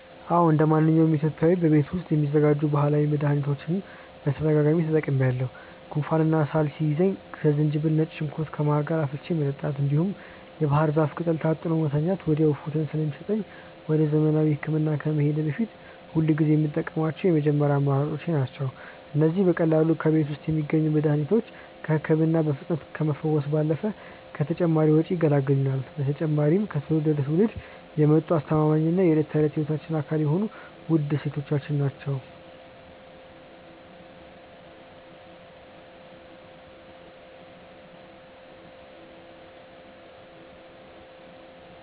አዎ እንደማንኛውም ኢትዮጵያዊ በቤት ውስጥ የሚዘጋጁ ባህላዊ መድኃኒቶችን በተደጋጋሚ ተጠቅሜአውቃሠሁ። ጉንፋንና ሳል ሲይዘኝ ዝንጅብልና ነጭ ሽንኩርት ከማር ጋር አፍልቶ መጠጣት፣ እንዲሁም የባህር ዛፍ ቅጠል ታጥኖ መተኛት ወዲያውኑ እፎይታ ስለሚሰጠኝ ወደ ዘመናዊ ሕክምና ከመሄዴ በፊት ሁልጊዜ የምጠቀማቸው የመጀመሪያ አማራጮቼ ናቸው። እነዚህ በቀላሉ በቤት ውስጥ የሚገኙ መድኃኒቶች ከሕመም በፍጥነት ከመፈወስ ባለፈ ከተጨማሪ ወጪ ይገላግሉናል። በተጨማሪም ከትውልድ ወደ ትውልድ የመጡ አስተማማኝና የዕለት ተዕለት ሕይወታችን አካል የሆኑ ውድ እሴቶቻችን ናቸው።